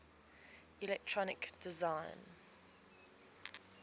electronic design